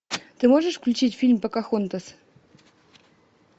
ты можешь включить фильм покахонтас